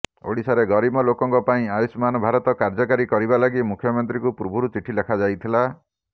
ଓଡ଼ିଶାରେ ଗରିବ ଲୋକଙ୍କ ପାଇଁ ଆୟୁଷ୍ମାନ ଭାରତ କାର୍ଯ୍ୟକାରୀ କରିବା ଲାଗି ମୁଖ୍ୟମନ୍ତ୍ରୀଙ୍କୁ ପୂର୍ବରୁ ଚିଠି ଲେଖାଯାଇଥିଲା